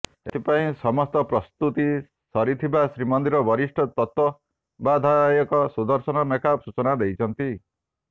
ଏଥିପାଇଁ ସମସ୍ତ ପ୍ରସ୍ତୁତି ସରିଥିବା ଶ୍ରୀମନ୍ଦିର ବରିଷ୍ଠ ତତ୍ବାବଧାୟକ ସୁଦର୍ଶନ ମେକାପ ସୂଚନା ଦେଇଛନ୍ତି